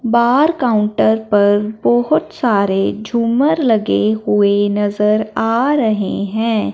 बाहर काउंटर पर बहोत सारे झूमर लगे हुए नजर आ रहे हैं।